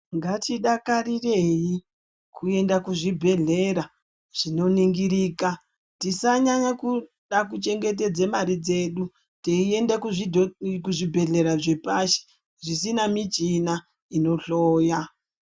Ngatidakarirei kuenda kuzvibhedhlera zvinoningirika. Tisanyanya kuda kuchengetedze mari dzedu, teiende kuzvidho zvibhedhlera zvepashi, zvisina michina inohloya.